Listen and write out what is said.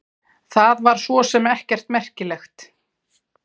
Það var svo sem ekkert merkilegt.